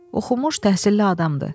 Oxumuş, təhsilli adamdır.